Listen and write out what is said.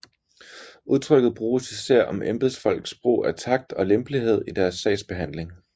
Udtrykket bruges især om embedsfolks brug af takt og lempelighed i deres sagsbehandling